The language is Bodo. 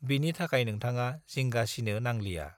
बिनि थाखाय नोंथाडा जिंगा सिनो नांलिया